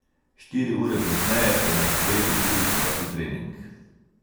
Štiri ure pozneje je na sporedu drugi prosti trening.